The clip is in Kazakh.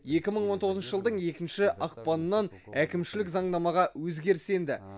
екі мың он тоғызыншы жылдың екінші ақпанынан әкімшілік заңнамаға өзгеріс енді